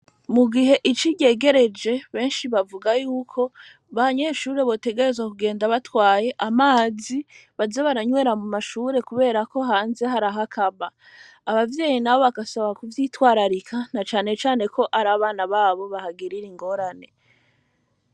Mu gihe ici ryegereje, benshi bavuga y'uko, abanyeshure, botegerezwa, kugenda batwaye amazi, baza baranywera mu mashure, kubera ko, hanze, hari aho akama; abavyeyi nabo, bagasaba kuvyitwararika, na cane cane ko, ari abana babo, bahagirira ingorane.